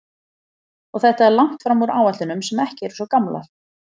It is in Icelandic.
Og þetta er langt fram úr áætlunum sem ekki eru svo gamlar?